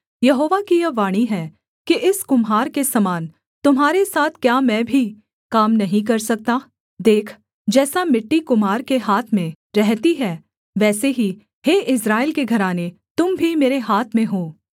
हे Israel के घराने यहोवा की यह वाणी है कि इस कुम्हार के समान तुम्हारे साथ क्या मैं भी काम नहीं कर सकता देख जैसा मिट्टी कुम्हार के हाथ में रहती है वैसे ही हे इस्राएल के घराने तुम भी मेरे हाथ में हो